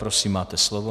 Prosím, máte slovo.